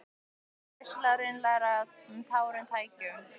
Þetta var vissulega raunalegra en tárum tæki.